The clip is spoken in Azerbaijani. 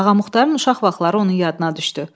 Ağamuxatarın uşaq vaxtları onun yadına düşdü.